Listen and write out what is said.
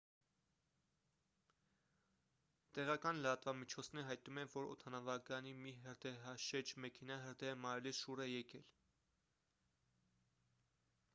տեղական լրատվամիջոցները հայտնում են որ օդանավակայանի մի հրդեհաշեջ մեքենա հրդեհը մարելիս շուռ է եկել